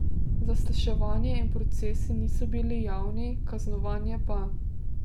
Zasliševanja in procesi niso bili javni, kaznovanje pa.